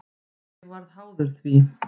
Ég varð háður því.